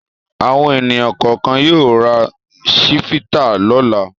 Àwọn ènìyàn kọ̀ọ̀kan yóò ra Chivita lọ́la.